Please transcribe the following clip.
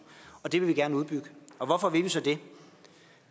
og det vil vi gerne udbygge hvorfor vil vi så det